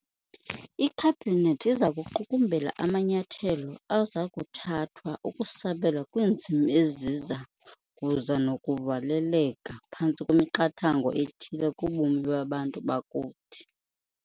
IKhabhinethi iza kuqukumbela amanyathelo aza kuthathwa ukusabela kwiinzima eziza kuza nokuvaleleka phantsi kwemiqathango ethile kubomi babantu bakuthi.